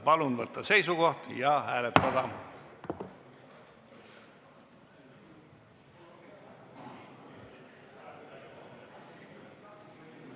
Palun võtta seisukoht ja hääletada!